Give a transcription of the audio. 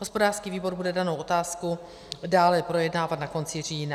Hospodářský výbor bude danou otázku dále projednávat na konci října.